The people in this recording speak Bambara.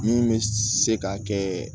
Min bɛ se ka kɛ